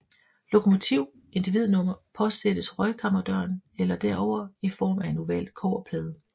Lokomotiv individnummer påsattes røgkammerdøren eller derover i form af en oval kobberplade